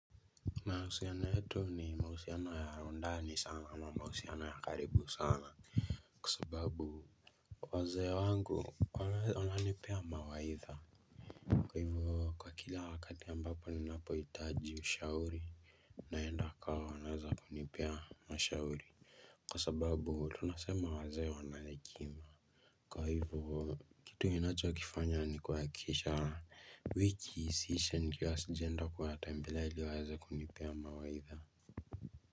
Mahusiano yetu ni mahusiano ya ndani sana ama mahusiano ya karibu sana. Kwa sababu wazee wangu wananipea mawaidha, kwa hivyo kila wakati ambapo ninapohitaji ushauri. Naenda kwa wanaoweza kunipa mashauri, kwa sababu tunasema wazee wana hekima, kwa hivyo. Kitu ninachikifanya ni kuhakikisha wiki isiishe nikiwa sijaenda kuwatembelea ili wawese kunipea mawaidha.